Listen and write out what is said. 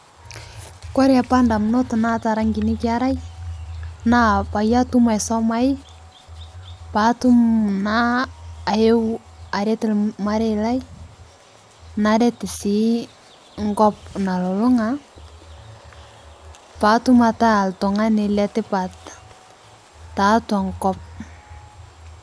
Kore apa ndamunot naata araa nkini kerai naa peyie atum aisomai paatum naa ayeu aret lmarei lai naret sii nkop nalulung'a paatum ataa ltung'ani letipat taatua nkop.